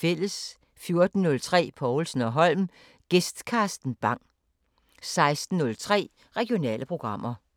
14:03: Povlsen & Holm: Gæst Carsten Bang 16:03: Regionale programmer